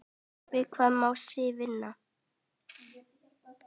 Við hvað má Sif vinna?